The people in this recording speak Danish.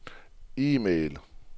e-post